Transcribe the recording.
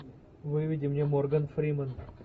выведи мне морган фриман